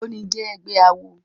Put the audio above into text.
Ógbóni jè ègbè àwó